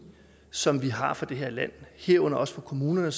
som vi har for det her land herunder også for kommunerne